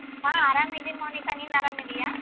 ಹ ಆರಾಮಿದೀನ್ ಮೌನಿಕ ನೀನ್ ಅರಾಮಿದಿಯ?